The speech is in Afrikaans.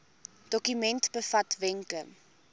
dokument bevat wenke